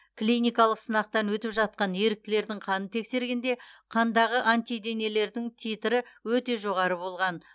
клиникалық сынақтан өтіп жатқан еріктілердің қанын тексергенде қандағы антиденелердің титрі өте жоғары болған